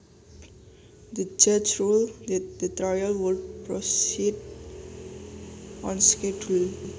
The judge ruled that the trial would proceed on schedule